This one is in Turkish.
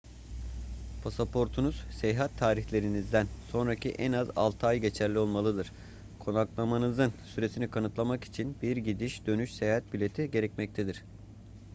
pasaportunuz seyahat tarihlerinizden sonraki en az 6 ay geçerli olmalıdır konaklamanızın süresini kanıtlamak için bir gidiş dönüş seyahat bileti gerekmektedir